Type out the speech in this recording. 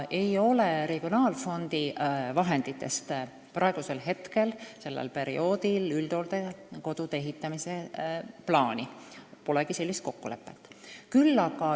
Regionaalfondi vahenditest ei ole sellel perioodil üldhooldekodude ehitamise plaani, polegi sellist kokkulepet.